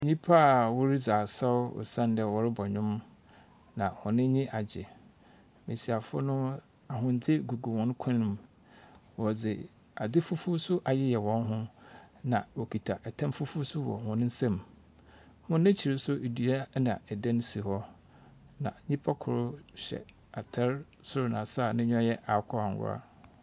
Nnipa a wɔredzi asaw osiandɛ wɔrebɔ ndwom, na wɔn enyi agye. Mmesiafo no ahwende gugu wɔn kɔn mu. Wɔdze ade fufu nso ayɛ wɔn jo. Na wɔkita ɛtam fufuo bi nso wɔ wɔn nsam. Wɔn akyir nso edua na ɛdan si hɔ, ɛna nipa kor hyɛ atar soro na ase a n’enyiwa ayɛ sɛ akokɔ angwa.